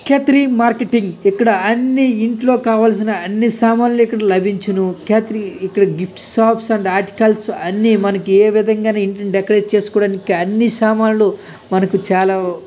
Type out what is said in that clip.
కేథరి marketing. ఇక్కడ అన్ని ఇంట్లో కావలసిన అన్ని సామాన్లు ఇక్కడ లభించును. కేథరి ఇక్కడ gift shops and articles అన్ని మనకు ఏ విధంగా ఇంట్లో డెకరేషన్ చేసుకోవడానికి అన్ని సామాన్లు మనకు చాలా.